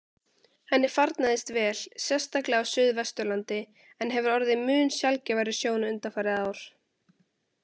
Henni farnaðist vel, sérstaklega á suðvesturlandi, en hefur orðið mun sjaldgæfari sjón undanfarin ár.